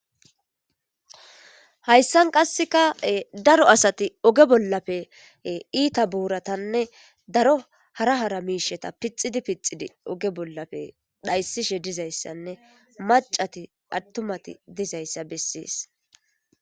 hayssan qasseka daro asati oge bollafe iita buuratanne daro hara hara miisheta pixidi pixidi oge bollafe dhayssishe dizayssanne macati attumati dizayssa bessees